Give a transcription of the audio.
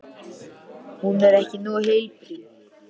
Hún er bara ekki nógu heilbrigð.